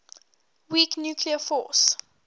weak nuclear force